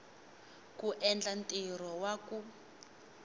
ku endla ntirho wa ku